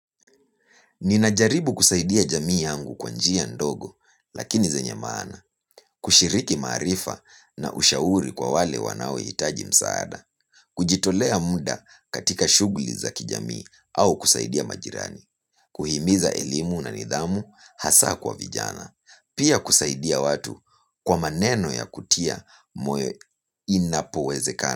Ninajaribu kusaidia jamii yangu kwa njia ndogo lakini zenye maana. Kushiriki maarifa na ushauri kwa wale wanaohitaji msaada. Kujitolea muda katika shughuli za kijamii au kusaidia majirani kuhimiza elimu na nidhamu, hasa kwa vijana. Pia kusaidia watu kwa maneno ya kutia moyo inapowezekana.